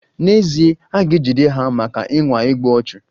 N'ezie, a ga-ejide ha maka ịnwa igbu ọchụ.